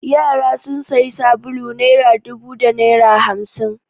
Yara sun sayi sabulu naira dubu da naira hamsin.